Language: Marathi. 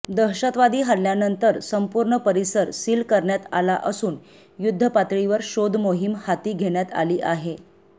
दहशतवादी हल्ल्यानंतर संपूर्ण परिसर सील करण्यात आला असून युद्धपातळीवर शोधमोहीम हाती घेण्यात आली आहे